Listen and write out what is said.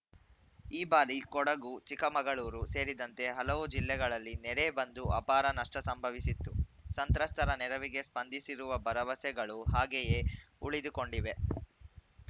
ಈ ಬಾರಿ ಕೊಡಗು ಚಿಕ್ಕಮಗಳೂರು ಸೇರಿದಂತೆ ಹಲವು ಜಿಲ್ಲೆಗಳಲ್ಲಿ ನೆರೆ ಬಂದು ಅಪಾರ ನಷ್ಟಸಂಭವಿಸಿತ್ತು ಸಂತ್ರಸ್ತರ ನೆರವಿಗೆ ಸ್ಪಂದಿಸಿರುವ ಭರವಸೆಗಳು ಹಾಗೆಯೇ ಉಳಿದುಕೊಂಡಿವೆ